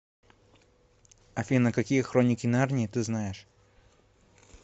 афина какие хроники нарнии ты знаешь